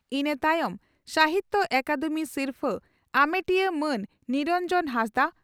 ᱤᱱᱟᱹ ᱛᱟᱭᱚᱢ ᱥᱟᱦᱤᱛᱭᱚ ᱟᱠᱟᱫᱮᱢᱤ ᱥᱤᱨᱯᱷᱟᱹ ᱟᱢᱮᱴᱤᱭᱟᱹ ᱢᱟᱱ ᱱᱤᱨᱚᱱᱡᱚᱱ ᱦᱟᱸᱥᱫᱟᱜ